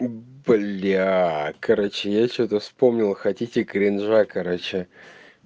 бля короче я что-то вспомнил хотите кринжа короче